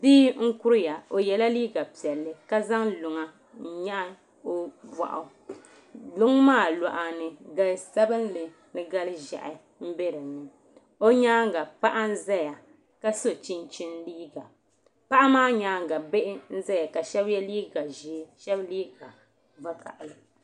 Bia n kuriya o yɛla liiga piɛlli ka zaŋ luŋa n nyaɣa o boɣu luŋ maa luɣa ni gali sabinli ni gali ƶiɛhi n bɛ dinni o nyaanga paɣa n ʒɛya ka so chinchin liiga paɣa maa nyaanga bihi n ʒɛay ka shab yɛ liigq ʒiɛ ka shab yɛ vakaɣali